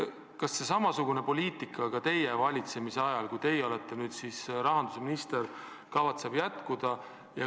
Kas samasugune poliitika jätkub ka teie valitsemise ajal, kui teie olete rahandusminister?